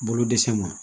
Bolo dɛsɛ ma